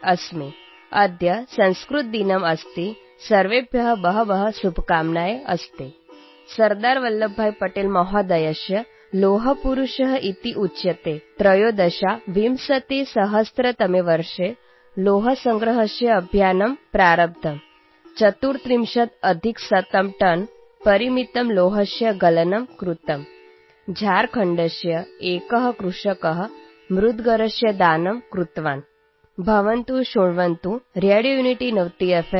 अस्मि । अद्य संस्कृतदिनम् अस्ति । सर्वेभ्यः बहव्यः शुभकामनाः सन्ति। सरदारवल्लभभाईपटेलमहोदयः लौहपुरुषः इत्युच्यते । २०१३तमे वर्षे लौहसंग्रहस्य अभियानम् प्रारब्धम् । १३४टनपरिमितस्य लौहस्य गलनं कृतम् । झारखण्डस्य एकः कृषकः मुद्गरस्य दानं कृतवान् । भवन्तः शृण्वन्तु रेडियोयुनिटीनवतिएफ्